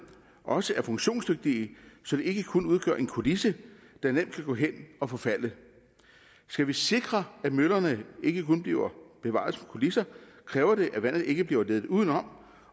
også er funktionsdygtige så de ikke kun udgør en kulisse der nemt kan gå hen at forfalde skal vi sikre at møllerne ikke kun bliver bevaret som kulisser kræver det at vandet ikke bliver ledt udenom